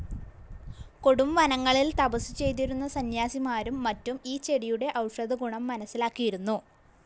കൊടുംവനങ്ങളിൽ തപസു ചെയ്തിരുന്ന സന്ന്യാസിമാരും മറ്റും ഈ ചെടിയുടെ ഔഷധഗുണം മനസ്സിലാക്കിയിരുന്നു.